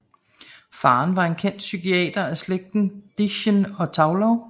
Faren var en kendt psykiater af slægten Dedichen og Thaulow